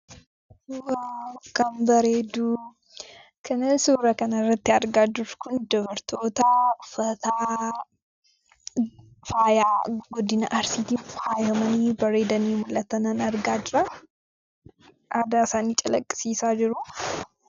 Waaw akkam bareedu! Kani suuraa kana irratti argaa jirru kun dubartoota uffata faayaa godina Arsiitiin faayamanii bareedanii mul'atanan argaa jira. Aadaa isaanii calaqqisiisaa jiru.